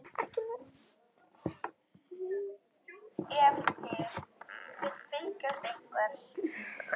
Grafkyrr og þögul stóðum við og mændum upp í himininn.